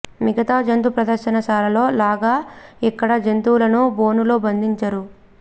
మిగతా జంతు ప్రదర్శన శాలలో లాగా ఇక్కడ జంతువులను బోను లో బంధించరు